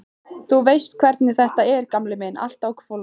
Þú veist hvernig þetta er, gamli minn, allt á hvolfi.